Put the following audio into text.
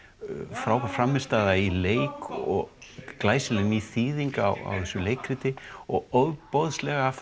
frábær frammistaða í leik og glæsileg ný þýðing á þessu leikriti og ofboðslega